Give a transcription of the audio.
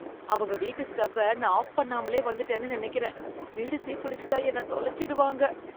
அவங்க வீட்டு ஸ்டவ்வ நான் ஆஃப் பண்ணாமலே வந்துட்டேன்னு நினைக்கறேன். வீடு தீப்பிடிச்சுட்டா என்ன தொலைச்சிடுவாங்க